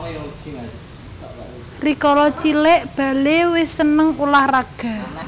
Rikala cilik Bale wis seneng ulah raga